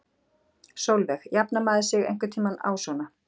Sólveig: Jafnar maður sig einhvern tímann á svona?